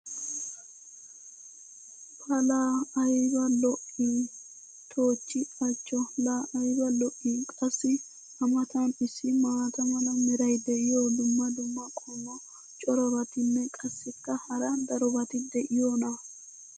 pa laa ayba lo'ii! toochchi achcho! laa ayba lo'ii? qassi a matan issi maata mala meray diyo dumma dumma qommo corabatinne qassikka hara darobatti diyoonaa?